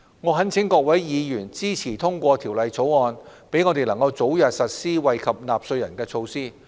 我懇請各位議員支持通過《條例草案》，讓我們能早日實施惠及納稅人的措施。